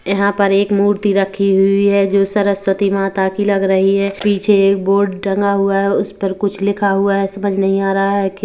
यहाँ पर एक मूर्ति रखी हुई हैजो सरस्वती माता कि लग रही है पीछे एक बोर्ड टंगा हुआ है उस पर कुछ लिखा है समझ नहीं आ रहा है कि--